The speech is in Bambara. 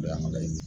O y'an ka laɲini ye